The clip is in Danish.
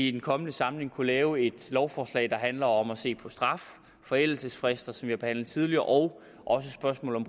i den kommende samling kunne lave et lovforslag der handler om at se på straf forældelsesfrister som vi har behandlet tidligere og også spørgsmålet